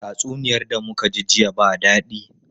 Tatsuniyar da muka ji jiya ba dadi.